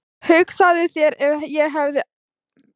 Hugsaðu þér ef ég hefði verið heimilislaus.